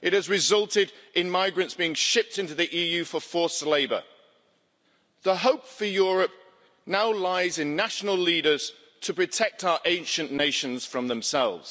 It has resulted in migrants being shipped into the EU for forced labour. The hope for Europe now lies in national leaders to protect our ancient nations from themselves.